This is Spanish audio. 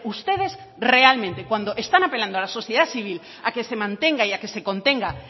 ustedes realmente cuando están apelando a la sociedad civil a que se mantenga y a que se contenga